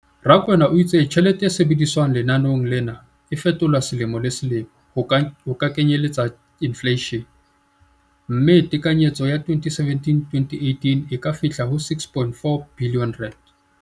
Rakwena o itse tjhelete e sebediswang lenaneong lena e fetolwa selemo le selemo ho kenyelletsa infleishene, mme tekanyetso ya 2017-18 e ka fihla ho R6.4 bilione.